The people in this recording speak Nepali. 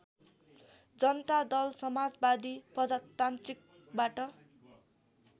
जनता दल समाजवादी प्रजातान्त्रिकबाट